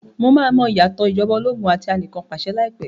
Mo máa mọ ìyàtọ̀ ìjọba ológun àti ti anìkanpàṣẹ lai pẹ̀